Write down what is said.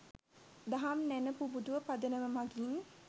දහම් නැණ පුබුදුව පදනම මගින්